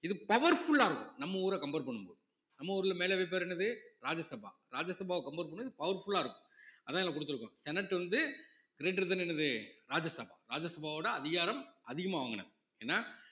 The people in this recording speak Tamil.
இது powerful ஆ இருக்கும் நம்ம ஊரை compare பண்ணும் போது நம்ம ஊர்ல மேலவை பேரு என்னது ராஜ்யசபா ராஜ்யசபாவை compare பண்ணும் போது powerful ஆ இருக்கும் அதான் இங்க குடுத்திருக்கோம் senate வந்து greater than என்னது ராஜ்யசபா ராஜ்யசபாவோட அதிகாரம் ஏன்னா